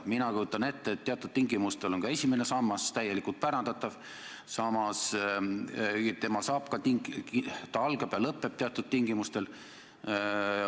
Mina kujutan ette, et teatud tingimustel on ka esimene sammas täielikult pärandatav, samas ta algab ja lõpeb teatud tingimustel.